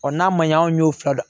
n'a ma ɲɛ an y'o fila